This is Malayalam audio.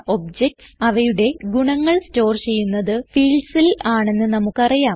ഒബ്ജക്റ്റ്സ് അവയുടെ ഗുണങ്ങൾ സ്റ്റോർ ചെയ്യുന്നത് fieldsൽ ആണെന്ന് നമുക്ക് അറിയാം